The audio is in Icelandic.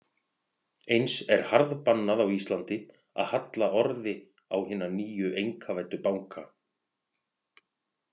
Eins er harðbannað á Íslandi að halla orði á hina nýju einkavæddu banka.